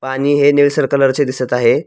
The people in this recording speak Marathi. पाणी हे निळसर कलर चे दिसत आहे.